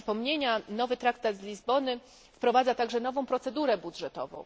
Dla przypomnienia nowy traktat z Lizbony wprowadza także nową procedurę budżetową.